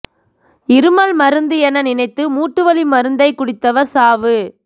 இருமல் மருந்து என நினைத்து மூட்டு வலி மருந்தைக் குடித்தவர் சாவு